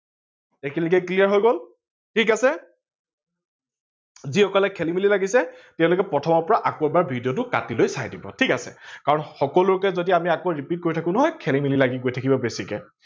এইখিনিলেকে clear হৈ গল, ঠিক আছে? যিসকলৰ খেলি মেলি লাগিছে তেওলোকে প্ৰথমৰ পৰা ভিডিঅটো কাতি লৈ চাই দিব ঠিক আছে, আৰু সকলোকে যদি আমি আকৌ repeat কৰি থাকো নহয় খেলি মেলি লাগি গৈ থাকিব বেছিকে